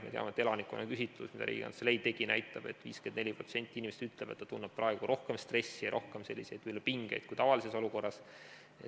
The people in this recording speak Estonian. Me teame, et elanikkonna küsitluses, mida Riigikantselei tegi, 51% inimestest ütles, et nad tunnevad praegu rohkem stressi ja pingeid kui tavalises olukorras.